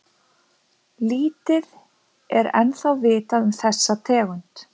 Lítið er ennþá vitað um þessa tegund.